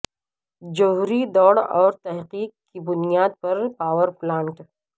جوہری دوڑ اور تحقیق کی بنیاد پر پاور پلانٹ